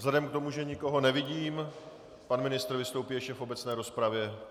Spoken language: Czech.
Vzhledem k tomu, že nikoho nevidím - pan ministr vystoupí ještě v obecné rozpravě.